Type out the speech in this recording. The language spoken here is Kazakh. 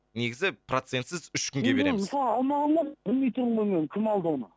негізі процентсіз үш күнге береміз мен мысалы алмағам ғой білмей тұрмын ғой мен кім алды оны